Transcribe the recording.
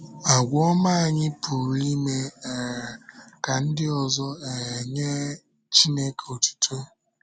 Àgwà ọma anyị pụrụ ime um ka ndị ọzọ um nye Chíneké otuto.